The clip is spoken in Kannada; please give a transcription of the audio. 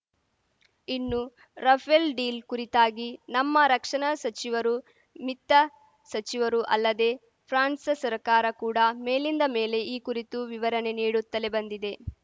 ಇನ್ನು ರಫೇಲ್‌ ಡೀಲ್‌ ಕುರಿತಾಗಿ ನಮ್ಮ ರಕ್ಷಣಾ ಸಚಿವರು ಮಿತ್ತ ಸಚಿವರು ಅಲ್ಲದೆ ಫ್ರಾನ್ಸ್‌ ಸರ್ಕಾರ ಕೂಡ ಮೇಲಿಂದ ಮೇಲೆ ಈ ಕುರಿತು ವಿವರಣೆ ನೀಡುತ್ತಲೇ ಬಂದಿದೆ